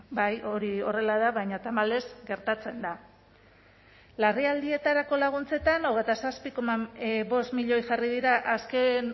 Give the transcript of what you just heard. bai hori horrela da baina tamalez gertatzen da larrialdietarako laguntzetan hogeita zazpi koma bost milioi jarri dira azken